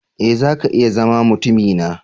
E! zaka iya zama mutumina.